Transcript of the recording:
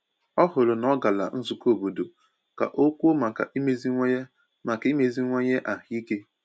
Ọ hụrụ na ọ gara nzụkọ obodo ka ọ kwùo maka imeziwanye maka imeziwanye ahụike.